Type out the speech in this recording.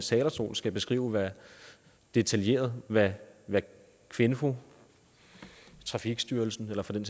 talerstol skal beskrive detaljeret hvad kvinfo trafikstyrelsen eller for den